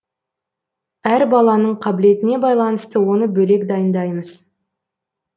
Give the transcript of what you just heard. әр баланың қабілетіне байланысты оны бөлек дайындаймыз